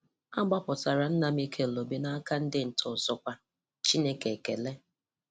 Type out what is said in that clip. A gbapụtala nna Mikel Obi n’aka ndị ntọ ọzọkwa. Chineke ekele!